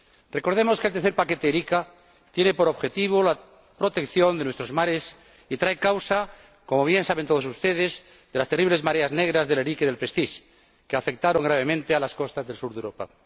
Recordemos que el paquete Erika III tiene por objetivo la protección de nuestros mares y trae causa, como bien saben todos ustedes, de las terribles mareas negras del Erika y del Prestige que afectaron gravemente a las costas del sur de Europa.